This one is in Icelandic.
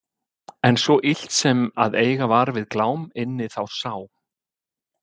En svo illt sem að eiga var við Glám inni þá sá